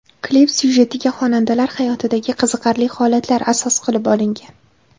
Klip syujetiga xonandalar hayotidagi qiziqarli holatlar asos qilib olingan.